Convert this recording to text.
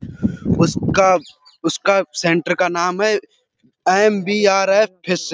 उसका उसका सेंटर का नाम है। MBRF phase --